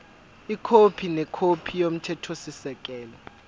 ikhophi nekhophi yomthethosisekelo